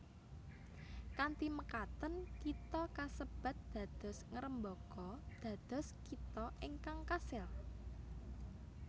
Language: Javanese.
Kanthi mekaten kitha kasebat dados ngrembaka dados kitha ingkang kasil